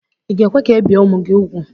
Ị ga-ekwe ka ebie ụmụ gị úgwù?